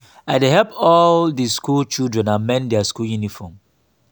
i dey help all di skool children amend their school uniform.